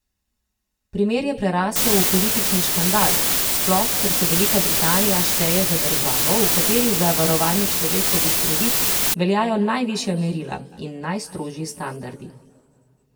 Primer je prerasel v politični škandal, sploh, ker se Velika Britanija šteje za državo, v kateri za varovanje človekovih pravic veljajo najvišja merila in najstrožji standardi.